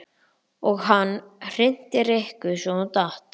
Og hann hrinti Rikku svo hún datt.